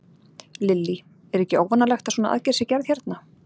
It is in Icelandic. Lillý: Er ekki óvanalegt að svona aðgerð sé gerð hérna?